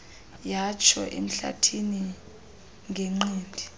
yatsho emhlathini ngenqindi